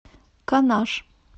канаш